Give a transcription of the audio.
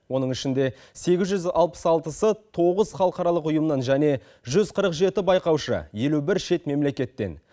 оның ішінде сегіз жүз алпыс алтысы тоғыз халықаралық ұйымнан және жүз қырық жеті байқаушы елу бір шет мемлекеттен